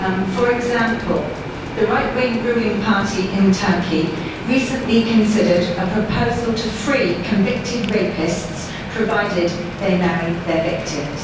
For example, the right wing ruling party in Turkey recently considered a proposal to free convicted rapists provided that they marry their victims.